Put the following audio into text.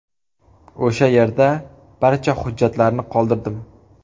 O‘sha yerda barcha hujjatlarni qoldirdim.